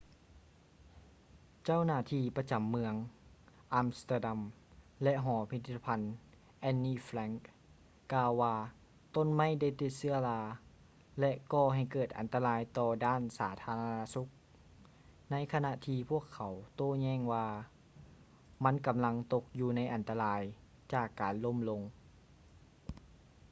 ເຈົ້າໜ້າທີ່ປະຈຳເມືອງ ອຳສະເຕີດຳ ແລະ ຫໍພິພິດທະພັນ anne frank ກ່າວວ່າ ຕົ້ນໄມ້ໄດ້ຕິດເຊື້ອລາ ແລະ ກໍ່ໃຫ້ເກີດອັນຕະລາຍຕໍ່ດ້ານສາທາລະນະສຸກ ໃນຂະນະທີ່ພວກເຂົາໂຕ້ແຍ່ງວ່າ ມັນກຳລັງຕົກຢູ່ໃນອັນຕະລາຍ ຈາກການລົ້ມລົງ